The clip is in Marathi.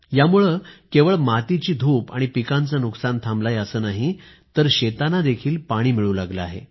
यामुळे केवळ मातीची धूप आणि पिकाचे नुकसान थांबलं आहे असं नाही तर शेतांना पाणीही मिळू लागलं आहे